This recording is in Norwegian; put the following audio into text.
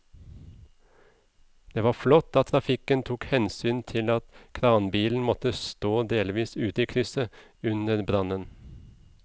Det var flott at trafikken tok hensyn til at kranbilen måtte stå delvis ute i krysset under brannen.